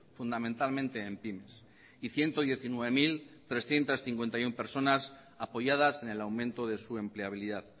fundamentalmente en pymes y ciento diecinueve mil trescientos cincuenta y uno personas apoyadas en el aumento de su empleabilidad